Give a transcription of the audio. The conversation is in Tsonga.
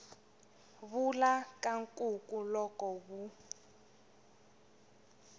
vula ka nkuku loko wu